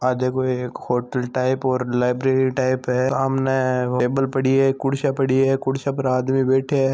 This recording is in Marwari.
आ देखो एक होटल टाइप और लाइब्रेरी टाइप है सामने टेबल पड़ी है कुर्सियां पड़ी है कुर्सियां पर आदमी बेठे है।